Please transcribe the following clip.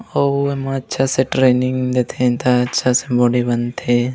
अऊ एमा अच्छा से ट्रेनिंग देथे त अच्छा से बॉडी बन थे।